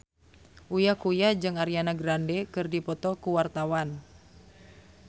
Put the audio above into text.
Uya Kuya jeung Ariana Grande keur dipoto ku wartawan